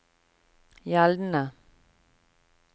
gjeldende